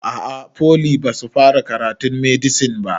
A'a foli basu fara karatun medisin ba